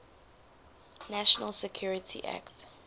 national security act